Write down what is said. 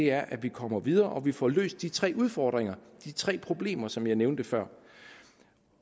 er at vi kommer videre og at vi får løst de tre udfordringer de tre problemer som jeg nævnte før